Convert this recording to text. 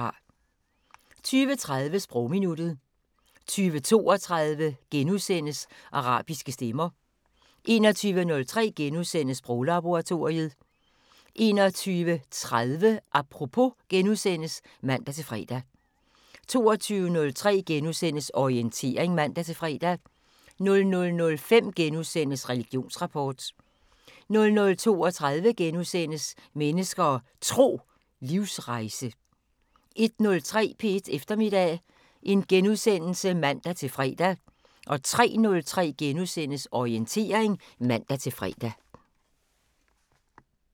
20:30: Sprogminuttet 20:32: Arabiske stemmer * 21:03: Sproglaboratoriet * 21:30: Apropos *(man-fre) 22:03: Orientering *(man-fre) 00:05: Religionsrapport * 00:32: Mennesker og Tro: Livsrejse * 01:03: P1 Eftermiddag *(man-fre) 03:03: Orientering *(man-fre)